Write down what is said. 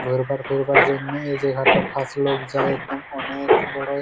ঘরবার কইবার জন্যে এই জাগাটো খাস লোগ যায় একদম অনেক বড়ো--